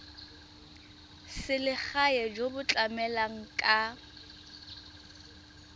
selegae jo bo tlamelang ka